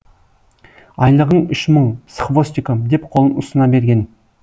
айлығың үш мың с хвостиком деп қолын ұсына берген